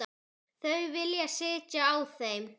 Þau vilja sitja á þeim.